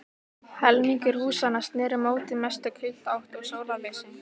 Helmingur húsanna sneri móti mestu kuldaátt og sólarleysi.